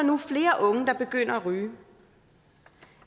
nu flere unge der begynder at ryge